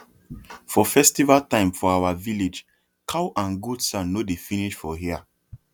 for festival time for our village cow and goat sound no dey finish for air